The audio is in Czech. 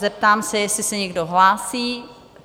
Zeptám se, jestli se někdo hlásí?